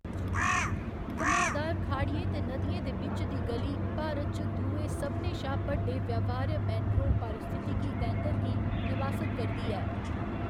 घुमाऽदार खाड़ियें ते नदियें दे बिच्च दी ग'ली भारत च दुए सभनें शा बड्डे व्यवहार्य मैंग्रोव पारिस्थितिकी तैंतर गी निवासत करदी ऐ।